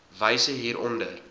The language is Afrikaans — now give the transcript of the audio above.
wyse hier onder